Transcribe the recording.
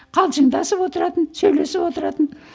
қалжыңдасып отыратын сөйлесіп отыратын